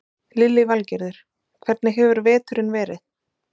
Lillý Valgerður: Hvernig hefur veturinn verið?